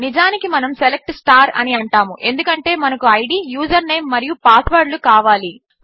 నిజానికి మనము సెలెక్ట్ అని అంటాము ఎందుకంటే మనకు ఐడీ యూజర్ నేం మరియు పాస్వర్డ్ కావాలి